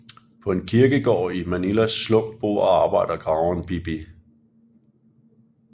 På en kirkegård i Manilas slum bor og arbejder graveren Bibi